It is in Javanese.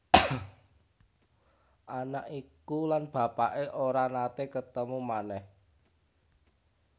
Anak iku lan bapaké ora naté ketemu manèh